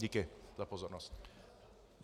Díky za pozornost.